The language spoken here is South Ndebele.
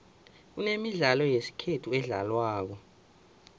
kunemidlalo yesikhethu edlalwako